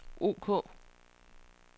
ok